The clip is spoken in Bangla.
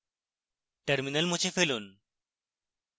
terminal মুছে দিন